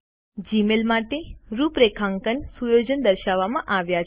Gmail માટે રૂપરેખાંકન સુયોજનો દર્શાવવામાં આવ્યા છે